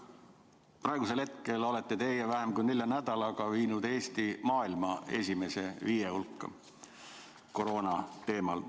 Praegu olete teie vähem kui nelja nädalaga viinud Eesti koroona teemal maailma esimese viie riigi hulka.